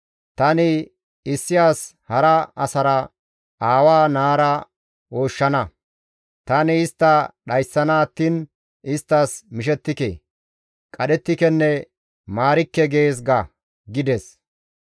Tani issi as hara asara, aawa naara ooshshana; tani istta dhayssana attiin isttas mishettike; qadhettikenne maarikke› gees ga» gides.